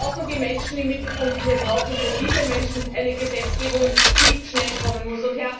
Wir brauchen die Menschen im Mittelpunkt, und wir brauchen für diese Menschen eine Gesetzgebung, die schnell kommen muss.